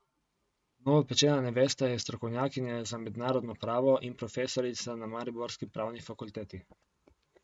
Novopečena nevesta je strokovnjakinja za mednarodno pravo in profesorica na mariborski pravni fakulteti.